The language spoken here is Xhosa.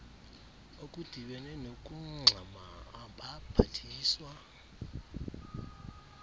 okudibene nokungxama abaphathiswa